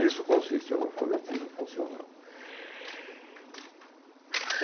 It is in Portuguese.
Isso consiste no alfabetismo funcional.